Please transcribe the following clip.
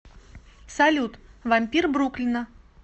салют вампир бруклина